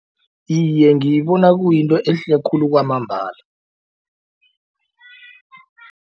Iye ngiyibona kuyinto ehle khulu kwamambala.